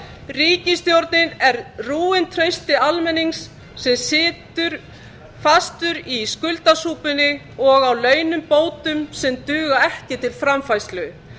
ríkisstjórnin er rúin trausti almennings sem situr fastur í skuldasúpunni og á launabótum sem duga ekki til framfærslu